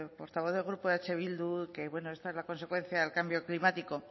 portavoz del grupo eh bildu que bueno que esta es la consecuencia del cambio climático